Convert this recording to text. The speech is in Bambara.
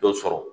Dɔ sɔrɔ